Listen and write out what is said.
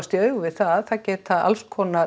í augu við það að